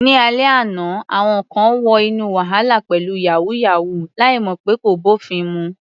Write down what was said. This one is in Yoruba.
Ní alẹ́ àná, àwọn kan wọ inú wàhálà pẹ̀lú "yàwúyáwù ," láì mọ̀ pé kò bófin mu.